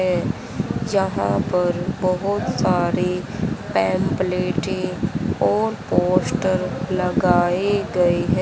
है जहाँ पर बहोत सारी पम्पलेटे और पोस्टर लगाए गए हैं।